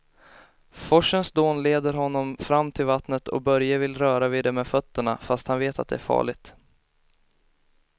Forsens dån leder honom fram till vattnet och Börje vill röra vid det med fötterna, fast han vet att det är farligt.